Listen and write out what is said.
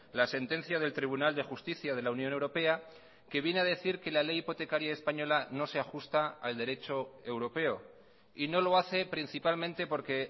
la sentencia del tribunal de justicia de la unión europea que viene a decir que la ley hipotecaria española no se ajusta al derecho europeo y no lo hace principalmente porque